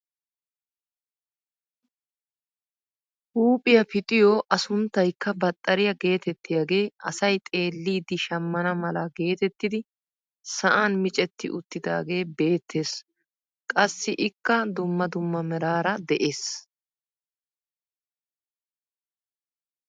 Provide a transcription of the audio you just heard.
Huuphphiyaa pixiyoo a sunttaykka baxxariyaa getettiyaagee asay xeellidi shammana mala getettidi sa'an micetti uttidaagee beettees. qassi ikka dumma dumma meraara de'ees.